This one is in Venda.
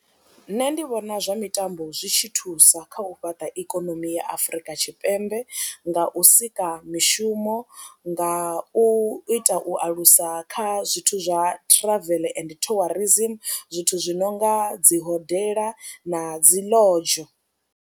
Nṋe ndi vhona zwa mitambo zwi tshi thusa kha u fhaṱa ikonomi ya Afrika Tshipembe nga u sika mishumo nga u ita u alusa kha zwithu zwa travel and tourism zwithu zwi no nga dzi hodela na dzi lounge.